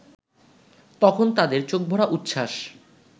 তখন তাদের চোখভরা উচ্ছ্বাস